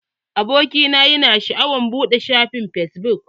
Abokina yana sha'awar buɗe shafin fesbuk.